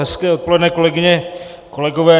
Hezké odpoledne, kolegyně, kolegové.